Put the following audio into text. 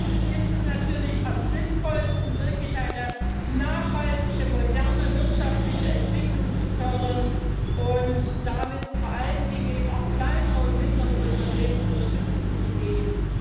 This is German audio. Und dazu ist es natürlich am sinnvollsten, wirklich eine nachhaltige moderne wirtschaftliche Entwicklung zu fördern und damit vor allen Dingen eben auch kleineren und mittleren Unternehmen Unterstützung zu geben.